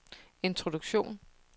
introduktion